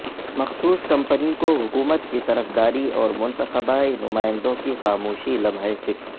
مخصوص کمپنی کو حکومت کی طرفداری اور منتخبہ نمائندوں کی خاموشی لمحہ فکر